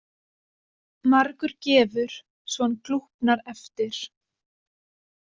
Margur gefur svo hann glúpnar eftir.